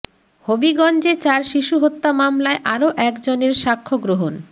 হবিগঞ্জে চার শিশু হত্যা মামলায় আরও এক জনের সাক্ষ্যগ্রহণ